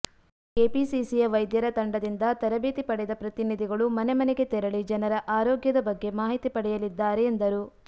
ಕೆಪಿಸಿಸಿಯ ವೈದ್ಯರ ತಂಡದಿಂದ ತರಬೇತಿ ಪಡೆದ ಪ್ರತಿನಿಧಿಗಳು ಮನೆ ಮನೆಗೆ ತೆರಳಿ ಜನರ ಆರೋಗ್ಯದ ಬಗ್ಗೆ ಮಾಹಿತಿ ಪಡೆಯಲಿದ್ದಾರೆ ಎಂದರು